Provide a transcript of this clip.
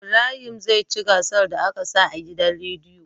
Ibrahim zai ci gasar da aka sa a gidan rediyo